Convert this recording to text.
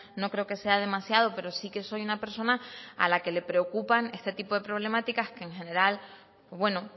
no creo que sea demasiado pero sí que soy una persona a la que le preocupan este tipo de problemáticas que en general bueno